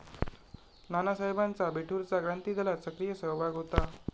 नानासाहेबांचा बिठूरचा क्रांतिदलात सक्रिय सहभाग होता.